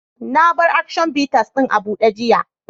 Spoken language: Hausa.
Na mar "Action bitters " din abude yiya.